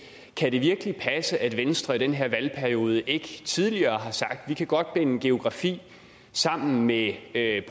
kan det virkelig passe at venstre i den her valgperiode ikke tidligere har sagt vi kan godt binde geografi sammen med at